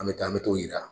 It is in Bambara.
An bɛ taa an bɛ t'o yira